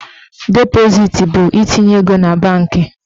Depositi bụ itinye ego na banki.